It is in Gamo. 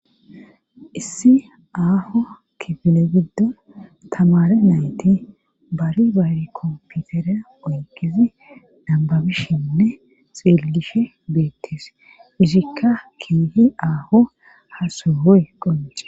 issi aaho kipine giddo tamare nayti bari bari komputere oykezi dambabishinne xeelgishe beettees irikka kiehi aaho hasohoy qonce